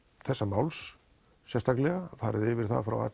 þessa máls sérstaklega það farið yfir það frá a